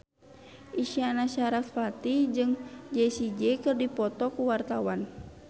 Isyana Sarasvati jeung Jessie J keur dipoto ku wartawan